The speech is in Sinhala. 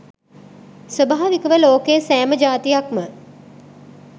ස්වභාවිකව ලෝකයේ සෑම ජාතියක්ම